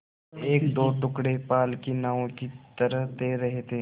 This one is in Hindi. एकदो टुकड़े पाल की नावों की तरह तैर रहे थे